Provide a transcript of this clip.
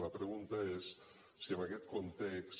la pregunta és si en aquest context